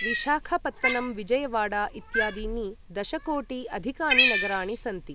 विशाखापत्तनं विजयवाडा इत्यादीनि दशकोटिा अधिकानि नगराणि सन्ति ।